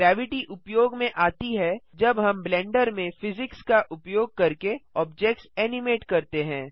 gravity उपयोग में आती है जब हम ब्लेंडर में फिजिक्स का उपयोग करके ऑब्जेक्ट्स एनिमेट करते हैं